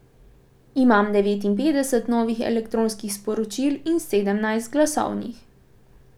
Imam devetinpetdeset novih elektronskih sporočil in sedemnajst glasovnih.